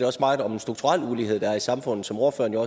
også meget om en strukturel ulighed der er i samfundet som ordføreren jo